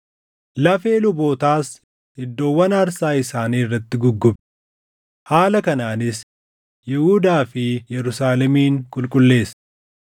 Lafee lubootaas iddoowwan aarsaa isaanii irratti guggube. Haala kanaanis Yihuudaa fi Yerusaalemin qulqulleesse.